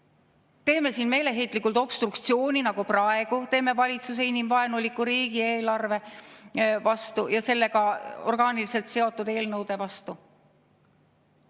Kas teeme siin meeleheitlikult obstruktsiooni, nagu praegu teeme valitsuse inimvaenuliku riigieelarve ja sellega orgaaniliselt seotud eelnõude vastu?